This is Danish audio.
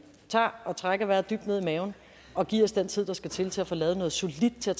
tager og trækker vejret dybt ned i maven og giver os den tid der skal til til at få lavet noget solidt der